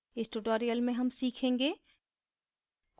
इस tutorial में हम सीखेंगे